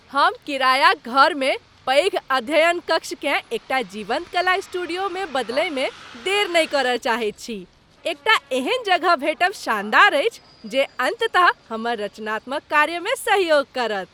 हम किरायाक घरमे पैघ अध्ययनकक्षकेँ एकटा जीवन्त कला स्टूडियोमे बदलयमे देर नहि करय चाहैत छी। एकटा एहन जगह भेटब शानदार अछि जे अंततः हमर रचनात्मक कार्यमे सहयोग करत।